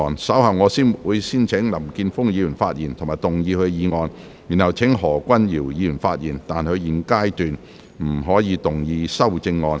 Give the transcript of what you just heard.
稍後我會先請林健鋒議員發言及動議議案，然後請何君堯議員發言，但他在現階段不可動議修正案。